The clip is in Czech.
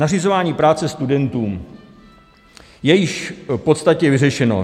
Nařizování práce studentům je již v podstatě vyřešeno.